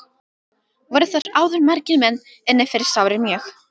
Voru þar áður margir menn inni fyrir sárir mjög.